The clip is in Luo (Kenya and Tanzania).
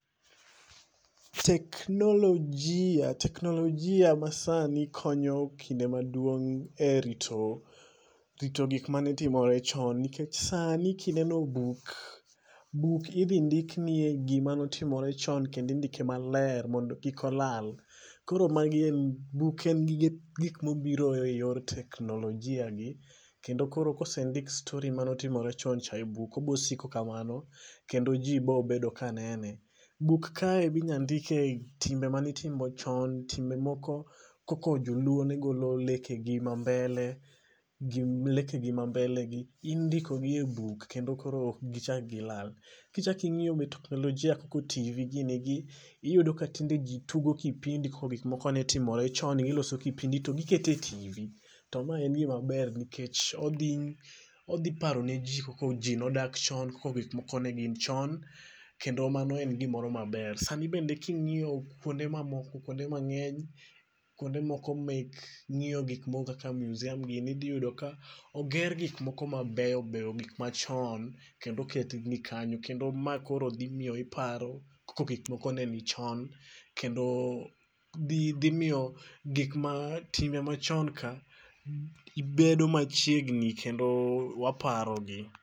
Teknologia masani konyo kinde maduong' e rito gik manetimore chon. Nikech sani kineno buk, buk idhi ndik nie gima notimore chon. Kendo indike maler mondo kik olala. Koro magi, buk en gik mobiro e yor teknologia gi. Kendo koro kosendik stori manotimore chon cha e buk obosiko kamano kendo ji bobedo ka nene. Buk kae bi nyandike timbe manitimo chon. Timbe moko kako Joluo ne golo lekegi ma mbele. Leke gi mambele gi. Indiko gi e buk kendo koro ok gichak gi lala. Kichak ing'iyo met teknologia ka ka TV gini gi, iyudo ka tinde ji tugo kipindi kaka gik moko netimore chon. Giloso kipindi to gikete TV. To ma en gima ber nikech odhi paro ne ji kako ji nodak chon kako gik moko ne gin chon. Kendo mano en gimoro maber. Sani bende king'iyo kuonde mamoko kuonde mang'eny kuonde moko mek ng'iyo gik moko kaka museum gini idhi yudo ka oger gik moko mabeyo beyo. Gik machon kendo oket gi kanyo. Kendo ma koro dhi miyo iparo kako gik moko ne ni chon. Kendo dhi miyo gik ma timbe machon ka bedo machiegni kendo waparo gi.